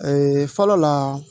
Ee fɔlɔ la